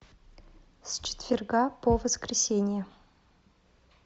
с четверга по воскресенье